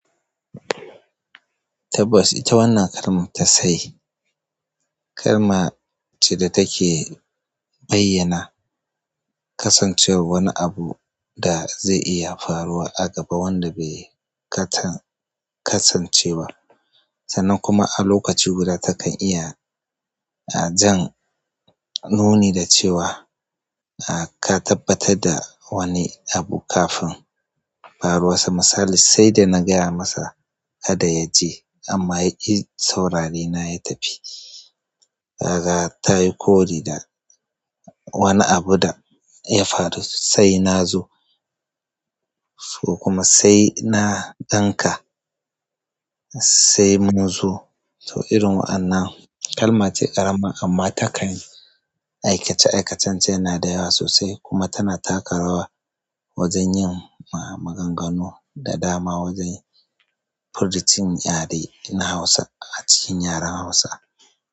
Tabbas ita wannan kalman tasai. Kalma ce da take bayyana kasancewar wani abu da zai iya faruwa a gaba wanda bai kasance ba. Sannan kuma a lokaci guda takan iya jan nuni da cewa ka tabbatar da wani abu kafin faruwa to misali, sai da na gaya masa kada ya je amma yaki saurare na ya tafi. Raga ta yi kori da wani abu da ya faru, sai na zo ko kuma sai na danka sai mun zo. To irin wannan kalmace ƙarama amma takan aikace-aikatance yana da yawa sosai kuma tana taka rawa wajen yin maganganu da dama wajen furu cin yare na Hausa a cikin yaren Hausa.